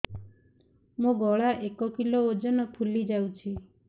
ମୋ ଗଳା ଏକ କିଲୋ ଓଜନ ଫୁଲି ଯାଉଛି